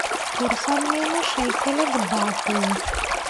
курс обмена шекеля к бату